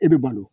E bɛ balo